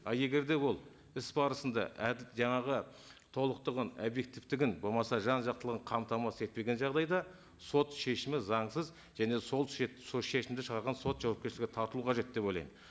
ал егер ол іс барысында жаңағы толықтығын объективтігін болмаса жан жақтылығын қамтамасыз етпеген жағдайда сот шешімі заңсыз және сол сол шешімді шығарған сот жауапкершілікке тартылу қажет деп ойлаймын